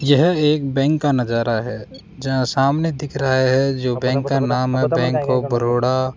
यह एक बैंक का नजारा है जहां सामने दिख रहा है जो बैंक का नाम है बैंक ऑफ बरोड़ा --